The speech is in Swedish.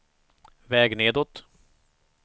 väg nedåt